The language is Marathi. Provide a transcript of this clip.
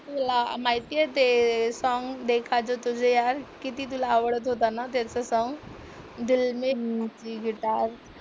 तुला माहितीये ते सॉंग देखा जो तुझे यार किती तुला आवडत होतं ना त्याचं सॉंग दिल में बजी गिटार